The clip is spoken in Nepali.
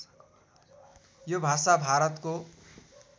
यो भाषा भारतको